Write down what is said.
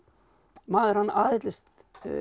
maður hann aðhyllist